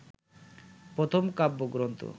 প্রথম কাব্যগ্রন্থ